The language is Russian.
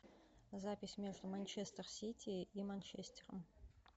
запись между манчестер сити и манчестером